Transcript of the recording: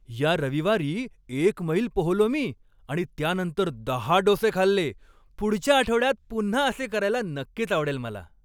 या रविवारी एक मैल पोहलो मी आणि त्यानंतर दहा डोसे खाल्ले. पुढच्या आठवड्यात पुन्हा असे करायला नक्कीच आवडेल मला.